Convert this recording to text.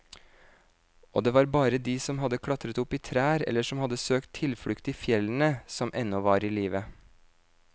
Og det var bare de som hadde klatret opp i trær eller som hadde søkt tilflukt i fjellene, som ennå var i live.